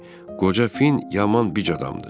qoca Fin yaman bic adamdır.